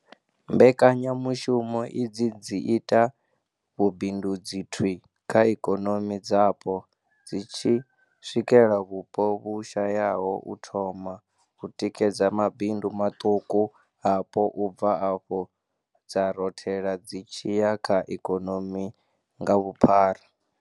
Mbekanyamushumo idzi dzi ita vhubindudzi thwii kha ikonomi dzapo, dzi tshi swikela vhupo vhu shayaho u thoma, u tikedza mabindu maṱuku apo u bva afho dza rothela dzi tshi ya kha ikonomi nga vhuphara.